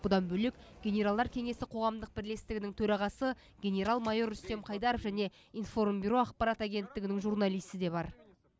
бұдан бөлек генералдар кеңесі қоғамдық бірлестігінің төрағасы генерал майор рүстем қайдаров және информ бюро ақпарат агенттігінің журналисі де бар